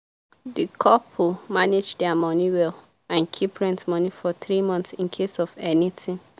the couple manage their money well and keep rent money for 3 months in case of anything